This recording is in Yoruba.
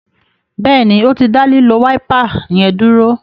Béèni o tí dá lilo Wáípà yén dúró.